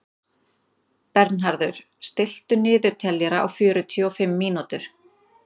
Bernharður, stilltu niðurteljara á fjörutíu og fimm mínútur.